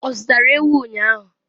ọ zụtara ewu ụnyahụ?